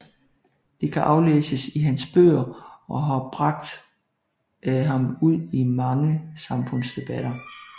Det kan aflæses i hans bøger og har bragt ham ud i mange samfundsdebatter